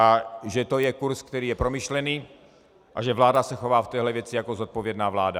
A že to je kurz, který je promyšlený, a že vláda se chová v téhle věci jako zodpovědná vláda.